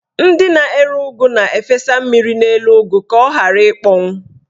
Ndị na-ere ụgụ na-efesa mmiri n'elu ụgụ ka ọ ghara ịkpọnwụ.